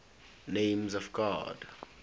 names of god